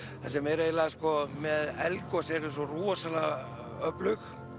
það sem er með eldgos þau eru svo rosalega öflug